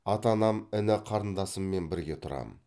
ата анам іні қарындасыммен бірге тұрамын